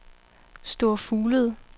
Store Fuglede